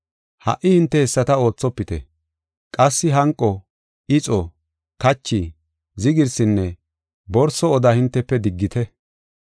Ha77i hinte hessata oothopite. Qassi hanqo, ixo, kachi, zigirsinne borso oda hintefe diggit.